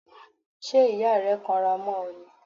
Ṣé ìyá rẹ kanra mọ́ ọ ni?